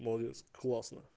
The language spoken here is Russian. молодец классно